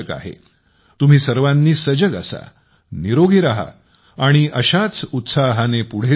तुम्ही सर्वांनी सजग असा निरोगी रहा आणि अशाच उत्साहाने पुढे जात रहा